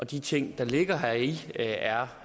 de ting der ligger heri er